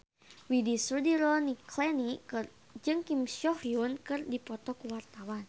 Widy Soediro Nichlany jeung Kim So Hyun keur dipoto ku wartawan